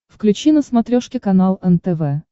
включи на смотрешке канал нтв